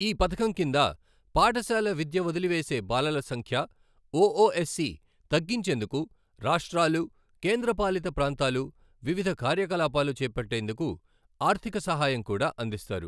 ఈ పథకం కింద పాఠశాల విద్య వదిలి వేసే బాలల సంఖ్య ఒఒఎస్ సి తగ్గించేందుకు రాష్ర్టాలు, కేంద్రపాలిత ప్రాంతాలు వివిధ కార్యకలాపాలు చేపట్టేందుకు ఆర్థిక సహాయం కూడా అందిస్తారు.